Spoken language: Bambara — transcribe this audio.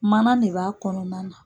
Mana ne b'a kɔnɔna na.